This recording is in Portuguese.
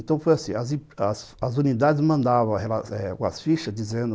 Então, foi assim, as as unidades mandavam as fichas dizendo